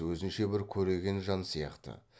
өзінше бір көреген жан сияқты